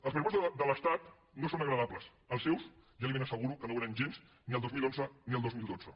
els pressupostos de l’estat no són agradables els seus ja li ben asseguro que no ho eren gens ni el dos mil onze ni el dos mil dotze